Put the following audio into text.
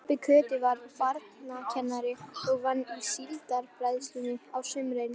Pabbi Kötu var barnakennari og vann í Síldarbræðslunni á sumrin.